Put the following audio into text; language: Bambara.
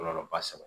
Kɔlɔlɔ ba saba